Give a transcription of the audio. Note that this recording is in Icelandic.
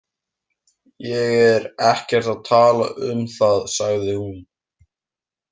Ég er ekkert að tala um það, sagði hún.